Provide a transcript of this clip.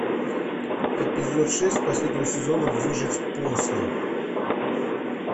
эпизод шесть последнего сезона выжить после